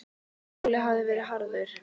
Hans skóli hafði verið harður.